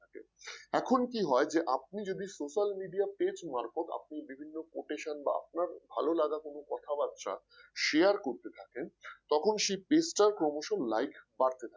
এখন কি হয় যে আপনি যদি social media page মারফত আপনি বিভিন্ন quotation বা আপনার ভাললাগা কোন কথাবার্তা share করতে থাকেন সেই তখন সে page টা ক্রমশ like বাড়তে থাকে